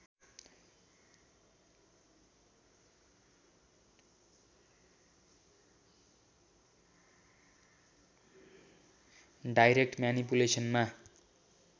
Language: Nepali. डाइरेक्ट म्यानिपुलेसनमा